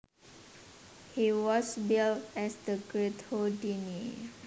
He was billed as The Great Houdini